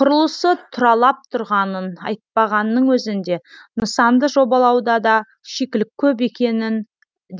құрылысы тұралап тұрғанын айтпағанның өзінде нысанды жобалауда да шикілік көп екенін